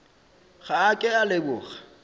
ga a ke a leboga